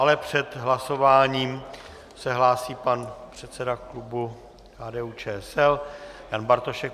Ale před hlasováním se hlásí pan předseda klubu KDU-ČSL Jan Bartošek.